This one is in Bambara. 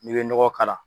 N'i bɛ nɔgɔ k'a la